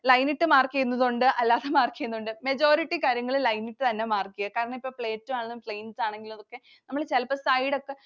Line ഇട്ടു mark ചെയുന്നതും ഉണ്ട്, അല്ലാതെ mark ചെയുന്നതും ഉണ്ട്. Majority കാര്യങ്ങൾ line ൽ തന്നെ mark ചെയുക. കാരണം ഇപ്പോൾ Plateau ആണ് plains ആണെങ്കിലൊക്കെ നമ്മൾ ചിലപ്പോ side ഒക്കെ